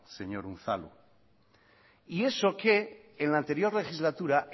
señor unzalu y eso que en la anterior legislatura